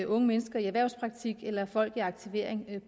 unge mennesker i erhvervspraktik eller folk i aktivering